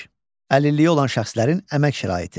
Əlilliyi olan şəxslərin əmək şəraiti.